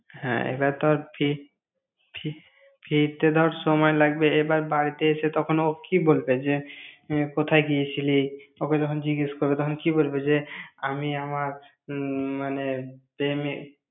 হ্যাঁ, এবার তোর ফির~ ফির~ ফিরতে ধর সময় লাগবে। এবার বাড়িতে এসে তখন ও কি বলবে? যে, কোথায় গিয়েছিলি? ওকে যখন জিজ্ঞেস করবে তখন কি বলবে যে, আমি আমার উম মানে প্রেমিক।